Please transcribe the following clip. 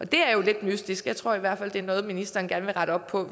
det er jo lidt mystisk jeg tror i hvert fald at det er noget som ministeren gerne vil rette op på